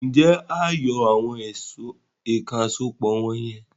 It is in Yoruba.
Ǹjẹ́wà á yọ àwọn èèkàn àsopọ̀ wọ̀n yẹn?